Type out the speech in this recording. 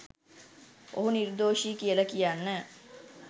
ඔහු නිර්දෝෂි කියලා කියන්න